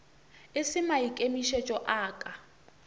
e se maikemišetšo a ka